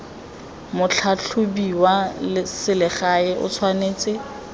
motlhatlhobi wa selegae o tshwanetse